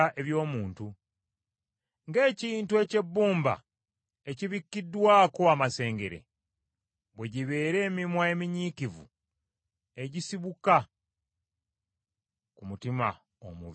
Ng’ekintu eky’ebbumba ekibikkiddwako amasengere, bwe gibeera emimwa eminyiikivu egisibuka ku mutima omubi.